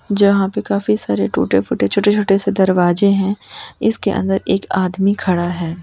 जहां पे काफी सारे टूटे फूटे छोटे छोटे से दरवाजे हैं इसके अंदर एक आदमी खड़ा है।